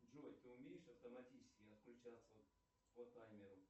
джой ты умеешь автоматически отключаться по таймеру